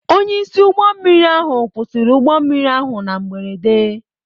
Onyeisi ụgbọ mmiri ahụ kwụsịrị ụgbọ mmiri ahụ na mberede.